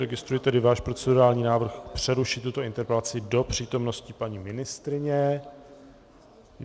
Registruji tedy váš procedurální návrh přerušit tuto interpelaci do přítomnosti paní ministryně.